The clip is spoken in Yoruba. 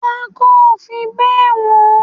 Pako ó fi bẹ wọn